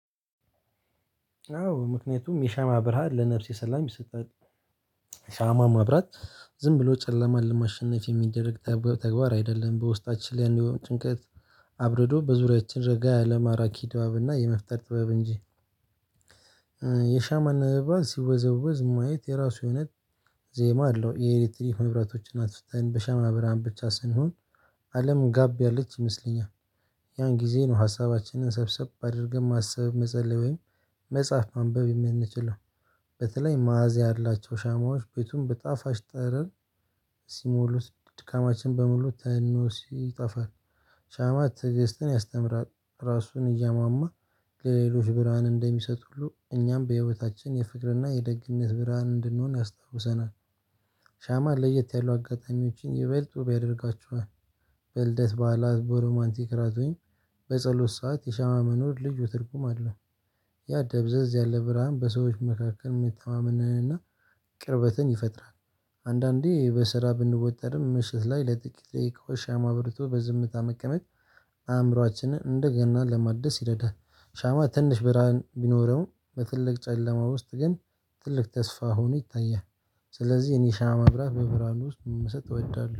አዎ ምክንያቱም የሻማ ብርሃን ለነፍሴ ሰላም ይሰጣል። ሻማ ማብራት ዝም ብሎ ጨለማ ለማሸነፍ የሚደረግ ተግባር አይደለም በውስጣችን ላይ ያን የሆነ ጭንቀት። አብርዶ በዙሪያችን ረጋ ያለ ማራኪ ድባብና የመፍጠር ጥበብ እንጂ። የሻማን ነበልባል ሲወዘውዝ ማየት የራሱ የሆነ ዜማ አለው። የኤሌትሪክ መብራቶች አትፍተን በሸማ ብርሃን ብቻ ስንሆን አለም ጋብ ያለች ይመስለኛል። ያን ጊዜ ነው ሀሳባችንን ሰብሰብ አድርገን ማሰብ መጸለይ ወይም መጽሐፍ ማንበብ የምንችለው። በተለይ ማዕዚያ ያላቸው ሻማዎች ቤቱን በጣፋጭ ጠረን ሲሞሉት ድካማችን በሙሉ ተኖ ሲጠፋል። ሻማ ትግስትን ያስተምራል። ራሱን እያማማ ለሌሎች ብርሃን እንደሚሰጥ ሁሉ እኛም በህይወታችን የፍቅርና የደግነት ብርሃን እንድንሆን ያስታውሰናል። ሻማ ለየት ያሉ አጋጣሚዎችን ይበልጡ ውብ ያደርጋችኋል። በልደት በዓላት በሮማንቲክ ራቶኝ በጸሎት ሰዓት የሸማ መኖር ልዩ ትርጉም አለው። ያ ደብዘዝ ያለ ብርሃን በሰዎች መካከል የመተማመንንና ቅርበትን ይፈጥራል። አንዳንዴ በስራ ብንወጠርም ምሽት ላይ ለጥቂት ደቂቃዎች ሻማ አብርቶ በዝምታ መቀመጥ። አእምሮአችንን እንደገና ለማደስ ይረዳል። ሻማ ትንሽ ብርሃን ቢኖረው በትልቅ ጨለማ ውስጥ ግን ትልቅ ተስፋ ሆኖ ይታያል። ስለዚህ እኔ ሻማ ማብራት በብራህኑ ውስጥ መመሰጥ እወዳለሁ